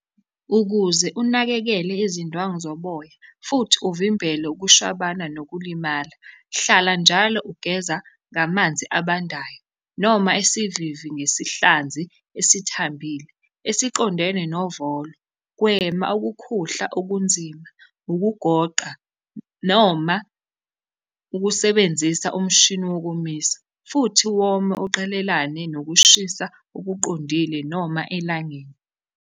Ukuze unakekele izindwangu zoboya futhi uvimbele ukushwabana nokulimala, hlala njalo ugeza ngamanzi abandayo noma isivivi ngesihlanzi esithambile esiqondene novolo. Gwema ukukhuhla okunzima, ukugoqa noma ukusebenzisa umshini wokomisa, futhi wome uqelelane nokushisa okuqondile noma elangeni.